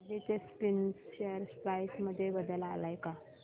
Aditya spinners share price मध्ये बदल आलाय का